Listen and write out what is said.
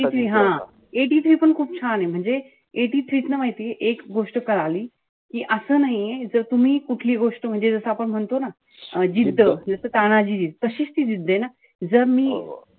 हा eighty three पण खूप छाने. म्हणजे eighty three तुला माहितीये एक गोष्ट कळली. कि असं नाहीये. जर तुम्ही कुठलीही गोष्ट म्हणजे जर आपण म्हणतो ना. जिद्द तानाजीत. तशीच ती जिद्दय ना. जर मी,